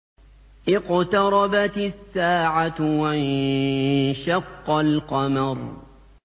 اقْتَرَبَتِ السَّاعَةُ وَانشَقَّ الْقَمَرُ